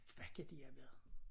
Hvad kan de have været